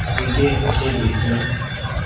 उम्मीदें हसें दिल की